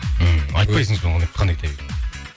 ммм айтпайсың сонымен қандай кітап екенін